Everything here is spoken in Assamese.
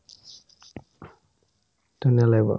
ধুনীয়া লাগিব